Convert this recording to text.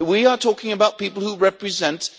We are talking about people who represent